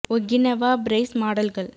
Okinawa Praise மாடல்கள்